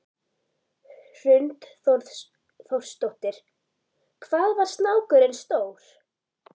Hrund Þórsdóttir: Hvað var snákurinn stór?